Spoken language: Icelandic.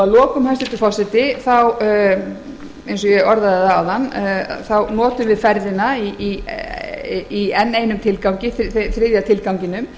að lokum hæstvirtur forseti eins og ég orðaði það áðan notum við ferðina í enn einum tilgangi þriðja tilganginum